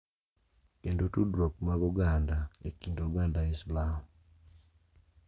Kendo tudruok mag oganda e kit oganda Islam.